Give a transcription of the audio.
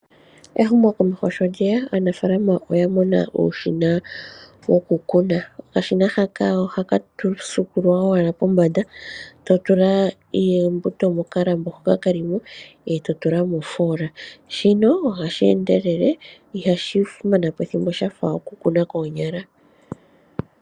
Ehumo komeho sho lyeya, aanafalama oya mona uushina wokukuna, okashina haka ohaka suukululwa owala pombanda, totula eembuto mokalambo hoka kelimo eto tula moofola, shino oha sheendelele ihashi manapo ethimbo shafa okukuna koonyala.